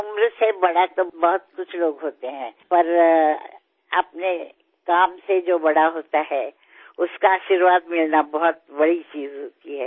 उम्र से बड़ा तो बहुत कुछ लोग होते हैं पर अपने काम से जो बड़ा होता है उसका आशीर्वाद मिलना बहुत बड़ी चीज होती है